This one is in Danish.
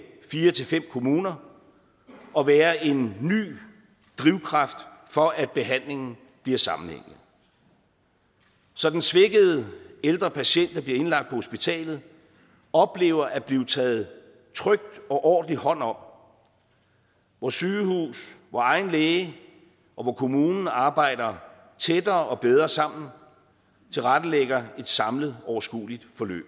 fire til fem kommuner og være en ny drivkraft for at behandlingen bliver sammenhængende så den svækkede ældre patient der bliver indlagt på hospitalet oplever at blive taget trygt og ordentligt hånd om hvor sygehus egen læge og kommune arbejder tættere og bedre sammen og tilrettelægger et samlet overskueligt forløb